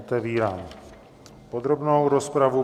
Otevírám podrobnou rozpravu.